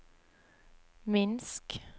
Minsk